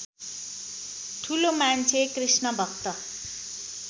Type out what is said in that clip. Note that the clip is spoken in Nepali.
ठुलो मान्छे कृष्णभक्त